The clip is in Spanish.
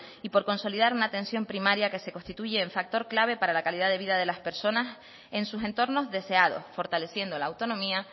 y por consolidar una atención primaria que se constituye el factor clave para la calidad de vida de las personas en sus entornos deseados fortaleciendo la autonomía